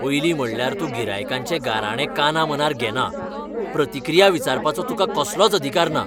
पयलीं म्हणल्यार तूं गिरायकांचे गाराणें कानामनार घेना, प्रतिक्रिया विचारपाचो तुका कसलोच अधिकार ना